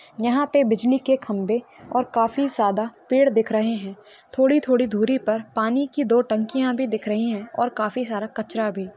यहा पे बिजली के खंबे और काफी ज्यादा पेड़ दिख रहे है थोड़ी-थोड़ी दूरी पर पाणी की दो टंकिया भी दिख रही है और काफी सारा कचरा भी।